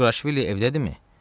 Qurquraşvili evdədimi?